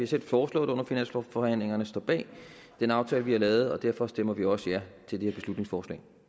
selv foreslået det under finanslovsforhandlingerne og står bag den aftale vi har lavet og derfor stemmer vi også ja til det her beslutningsforslag